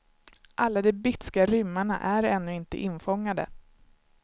Alla de bitska rymmarna är ännu inte infångade.